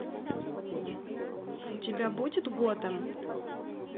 у тебя будет готэм